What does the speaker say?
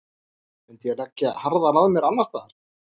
Myndi ég leggja harðar að mér annarsstaðar?